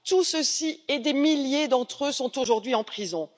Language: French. Ceux ci et des milliers d'entre eux sont aujourd'hui en prison.